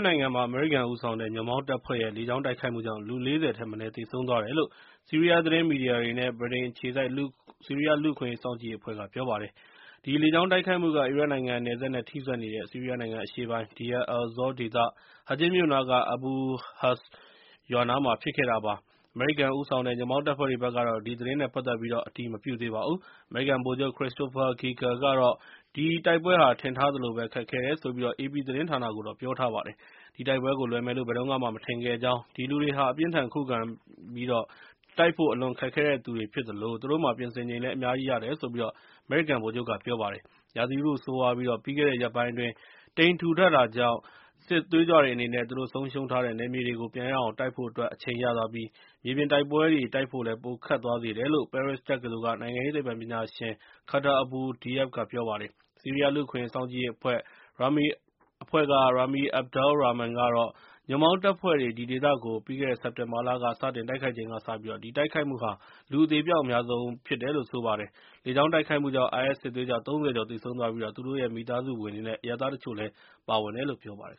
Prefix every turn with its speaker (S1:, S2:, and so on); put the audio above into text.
S1: နိုင်ငံမှာ အမေရိကန်ဦးဆောင်တဲ့ ညွှန့်ပေါင်းတပ်ဖွဲ့ရဲ့ လေကြောင်းတိုက်ခိုက်မှုကြောင့် လူ ၄၀ ထက်မနည်း သေဆုံးသွားတယ်လို့ ဆီးရီးယားသတင်းမီဒီယားတွေ နဲ့ ဗြိတိန်အခြေစိုက် ဆီးရီးယားလူ့အခွင့်အရေးစောင့်ကြည့်ရေးအဖဲ့ွ့က ပြောပါတယ်။ ဒီလေကြောင်းတိုက်ခိုက်မှုက အီရတ်နိုင်ငံနယ်စပ်နဲ့ထိစပ်နေတဲ့ ဆီးရီးယားနိုင်ငံအရှေ့ပိုင်း Deir el-Zor ဒေသ Hajin မြို့နားက Abu Husn ရွာနားမှာဖြစ်ခဲ့တာပါ။ အမေရိကန်ဦးဆောင်တဲ့ ညွှန့်ပေါင်းတပ်ဖွဲ့တွေဘက်ကတော့ ဒီသတင်းနဲ့ ပတ်သက်ပြီး အတည်မပြုသေးပါဘူး။ အမေရိကန် ဗိုလ်ချုပ် Christopher Ghika ကတော့ ဒီတိုက်ပွဲဟာ ထင်ထားသလိုပဲ ခက်ခဲတယ်ဆိုပြီး အေပီသတင်းဌာနကို ပြောပါတယ်။ ဒီတိုက်ပွဲကိုလွယ်မယ်လို့ ဘယ်တုန်းကမှ မထင်ခဲ့ကြောင်း၊ ဒီလူတွေဟာ အပြင်းအထန်ခုခံပြီး တိုက်ဖို့အလွန်ခက်တဲ့သူတွေဖြစ်သလို၊ သူတို့မှာ ပြင်ဆင်ချိန်လည်း အများကြီးရတယ်လို့ အမေရိကန်ဗိုလ်ချုပ်က ပြောပါတယ်။ ရာသီဥတုဆိုးရွားပြီး ၊ ပြီးခဲ့တဲ့ ရက်ပိုင်းအတွင်း တိပ်ထူထပ်နေတာကြောင့်၊ စစ်သွေးကြွတွေအနေနဲ့ သူတို့ဆုံးရှုံးထားတဲ့ နယ်မြေတွေကို ပြန်ရအောင်တိုက်ဖို့အတွက် အချိန်ရသွားပြီး၊ မြေပြင်တိုက်ပွဲတွေ တိုက်ဖို့ ပိုခက်သွားစေတယ်လို့ ပဲရစ်တက္ကသိုလ်က နိုင်ငံရေးသိပ္ပံပညာရှင် Khattar Abou Diab က ပြောပါတယ်။ ဆီးရီးယားလူ့အခွင့်အရေးစောင့်ကြည့်ရေးအဖွဲ့ Rami Abdel Rahman ကတော့ ညွှန့်ပေါင်းတပ်ဖွဲ့တွေ ဒီဒေသကို ပြီးခဲ့တဲ့စက်တင်ဘာလက စတင်တိုက်ခိုက်ချိန်ကစပြီး ဒီတိုက်ခိုက်မှုဟာ လူအသေအပျောက်အများဆုံးဖြစ်တယ်လို့ ပြောပါတယ်။ လေကြောင်းတိုက်ခိုက်မှုှုကြောင့် IS စစ်သွေးကြွ ၃၀ ကျော်သေဆုံးသွားပြီး၊ သူတို့ရဲ့ မိသားစုဝင်တွေ နဲ့ အရပ်သားတချို့လည်း ပါဝင်တယ်လို့ ပြောပါတယ်